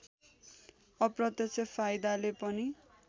अप्रत्यक्ष फाइदाले पनि